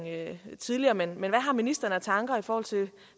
tidligere men hvad har ministeren af tanker i forhold til